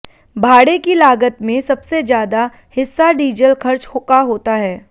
भाड़े की लागत में सबसे ज्यादा हिस्सा डीजल खर्च का होता है